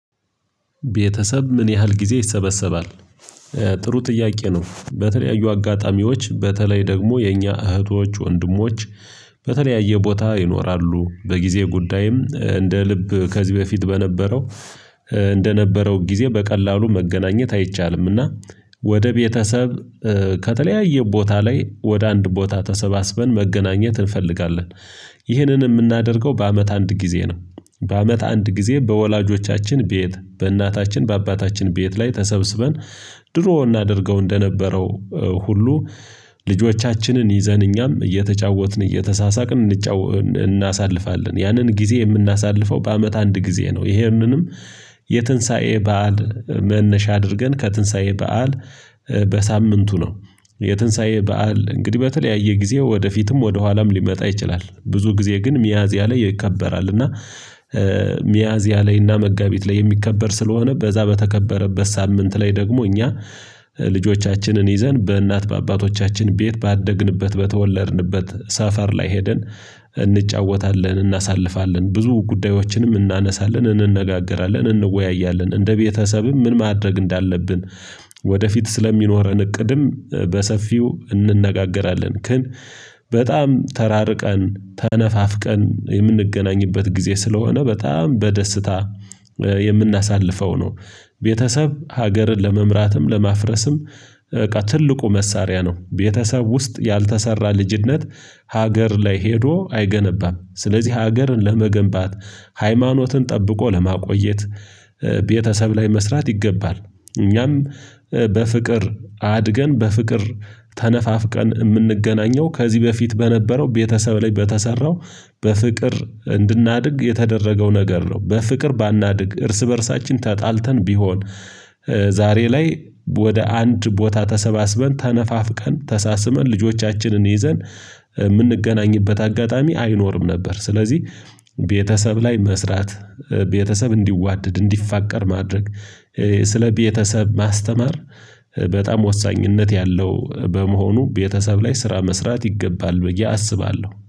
ቤተሰብ ምን ያህል ጊዜ ይሰበሰባል? ጥሩ ጥያቄ ነው በተለያዩ አጋጣሚዎች በተለይ ደግሞ የኛ እህቶች፣ ወንድሞች በተለያየ ቦታ ይኖራሉ በጊዜ ጉዳይም እንደ ልብ ከዚህ በፊት በነበረው እንደነበረው ጊዜ በቀላሉ መገናኘት አይቻልምና ወደ ቤተሰብ ከተለያየ ቦታ ላይ ወደ አንድ ቦታ ተሰባስበን መገናኘት እንፈልጋለን። ይህንን የምናደርገው በአመት አንድ ጊዜ ነው በአመት አንድ ጊዜ በወላጆቻችን ቤት በእናታችን በአባታችን ቤት ላይ ተሰብስበን ድሮ እናደርገው እንደነበረው ሁሉ ልጆቻችንን ይዘን እኛም እየተጫወትን እየተሳሳቅን እናሳልፋለን ያንን ጊዜ የምናሳልፈው በአመት አንድ ጊዜ ነው። ይሄንንም የትንሳኤ በዓል መነሻ አድርገን ከትንሳኤ በዓል በሳምንቱ ነው። የትንሳኤ በዓል እንግዲህ በተለያየ ጊዜ ወደፊትም ወደኋላም ሊመጣ ይችላል ብዙ ጊዜ ግን ሚያዝያ ላይ ይከበራል። እና ሚያዝያ ላይ እና መጋቢት ላይ የሚከበር ስለሆነ በዛ በተከበረበት ሳምንት ላይ ደግሞ እኛ ልጆቻችንን ይዘን በእናት በአባቶቻችን ቤት ባደግንበት በተወለድንበት ሰፈር ላይ ሄደን እንጫወታለን እናሳልፋለን ብዙ ጉዳዮችንም እናነሳለን እንነጋገራለን እንወያያለን እንደ ቤተሰብም ምን ማድረግ እንዳለብን ወደፊት ስለሚኖረን እቅድም በሰፊው እንነጋገራለን ግን በጣም ተራርቀን ተነፋፍቀን የምንገናኝበት ጊዜ ስለሆነ በጣም በደስታ የምናሳልፈው ነው። ቤተሰብ ሀገርን ለመምራትም ለማፍረስም ትልቁ መሳሪያ ነው። ቤተሰብ ውስጥ ያልተሰራ ልጅነት ሀገር ላይ ሄዶ አይገነባም። ስለዚህ ሀገርን ለመገንባት ሃይማኖትን ጠብቆ ለማቆየት ቤተሰብ ላይ መስራት ይገባል። እኛም በፍቅር አድገን በፍቅር ተነፋፍቀን የምንገናኘው ከዚህ በፊት በነበረው ቤተሰብ ላይ በተሰራው በፍቅር እንድናድግ የተደረገው ነገር ነው። በፍቅር ባናድግ እርስ በእርሳችን ተጣልተን ቢሆን ዛሬ ላይ ወደ አንድ ቦታ ተሰባስበን ተነፋፍቀን ተሳስመን ልጆቻችንን ይዘን የምንገናኝበት አጋጣሚ አይኖርም ነበር። ስለዚህ ቤተሰብ ላይ መስራት ቤተሰብ እንዲዋደድ እንዲፋቀር ማድረግ ስለ ቤተሰብ ማስተማር በጣም ወሳኝነት ያለው በመሆኑ ቤተሰብ ላይ ስራ መስራት ይገባል። ብዬ አስባለሁ